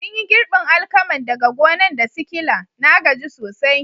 Mun yi girbin alkaman daga gonan' da sikila, na gaji sosai.